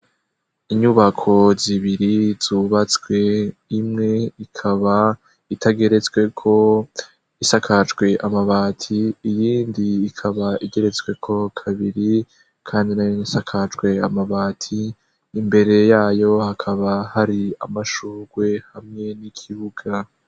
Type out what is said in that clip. Inyubako zibiri zubatswe, imwe ikaba itageretsweko, isakajwe amabati iyindi ikaba igeretsweko kabiri, kandi isakajwe amabati. Imbere yayo hakaba hari amashurwe hamwe n'ikibuga.